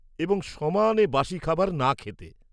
-এবং সমানে বাসী খাবার না খেতে।